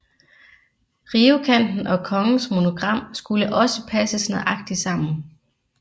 Rivekanten og kongens monogram skulle også passe nøjagtigt sammen